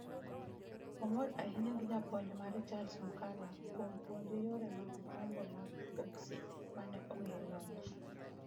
Omor ahinya gi japuonj mare Charles Mukula kuom puonje yore mag gombo mag boksi ma ne omiye loch.